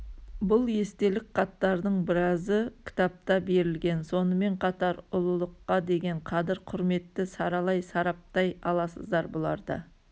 бұл естелік хаттардың біразы кітапта берілген сонымен қатар ұлылыққа деген қадір құрметті саралай сараптай аласыздар бұларда